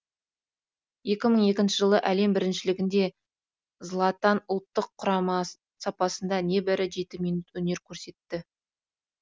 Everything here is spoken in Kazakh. екі мың екінші жылғы әлем біріншілігінде златан ұлттық құрама сапында небәрі жеті минут өнер көрсетті